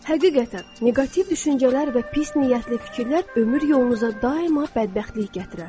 Həqiqətən, neqativ düşüncələr və pis niyyətli fikirlər ömür yolunuza daima bədbəxtlik gətirər.